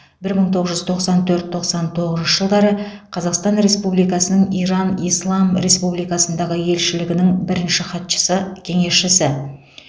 бір мың тоғыз жүз тоқсан төрт тоқсан тоғызыншы жылдары қазақстан республикасының иран ислам республикасындағы елшілігінің бірінші хатшысы кеңесшісі